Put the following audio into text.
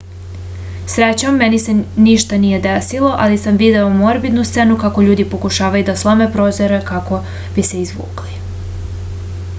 srećom meni se nije ništa desilo ali sam video morbidnu scenu kako ljudi pokušavaju da slome prozore kako bi se izvukli